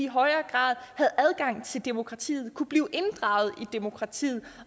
højere grad havde adgang til demokratiet og kunne blive inddraget i demokratiet